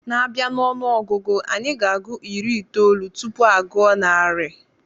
A bia n'onuogugu, Anyị na-agụ iri itoolu tupu aguo narị